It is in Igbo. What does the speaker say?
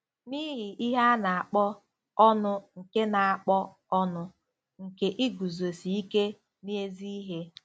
N'ihi ihe a na-akpọ "ọnụ nke na-akpọ "ọnụ nke iguzosi ike n'ezi ihe."